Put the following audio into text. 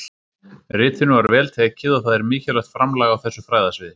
Ritinu var vel tekið og það er mikilvægt framlag á þessu fræðasviði.